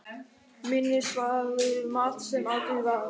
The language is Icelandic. Minnisvarði um allt sem aldrei varð.